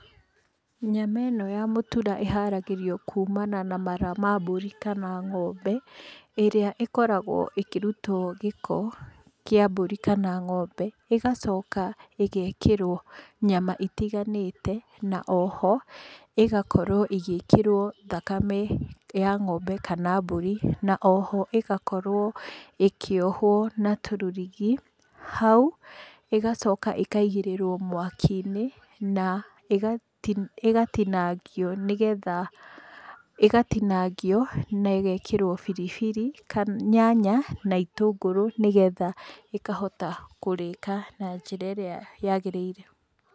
Nyama ĩno ya mũtura ĩharagĩrĩrio kumana na mara ma mbũri kana ng'ombe, ĩrĩa ĩkoragwo ĩkĩrutwo gĩko, kĩa mbũri kana ng'ombe, ĩgacoka ĩgekĩrwo nyama itiganĩte, na o ho ĩgakorwo ĩgĩkĩrwo thakame, ya ng'ombe kana mbũri, na o ho ĩgakorwo ĩkĩohwo na tũrũrigi, hau ĩgacoka ĩkaigĩrĩrwo mwakiinĩ, na ĩgatinagio nĩgetha, ĩgatinagio na ĩgekĩrwo biribiri, nyanya na itũngũrũ nĩgetha ĩkahota kũrĩka na njĩra ĩrĩa yagĩrĩire.